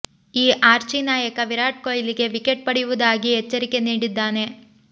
ಈ ಆರ್ಚೀ ನಾಯಕ ವಿರಾಟ್ ಕೊಹ್ಲಿಗೆ ವಿಕೆಟ್ ಪಡೆಯುವುದಾಗಿ ಎಚ್ಚರಿಕೆ ನೀಡಿದ್ದಾನೆ